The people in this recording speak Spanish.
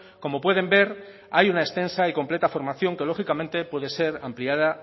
como pueden ver hay una extensa y completa formación que lógicamente puede ser ampliada